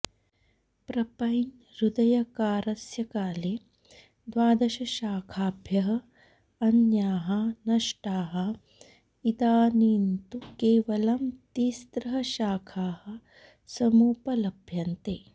प्रपञहृदयकारस्यकाले द्वादशशाखाभ्यः अन्याः नष्टाः इदानीन्तु केवलं तिस्रः शाखाः समुपलभ्यन्ते